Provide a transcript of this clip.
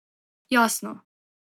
Jasno.